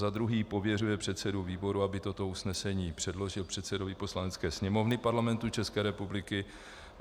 Za druhé pověřuje předsedu výboru, aby toto usnesení předložil předsedovi Poslanecké sněmovny Parlamentu České republiky.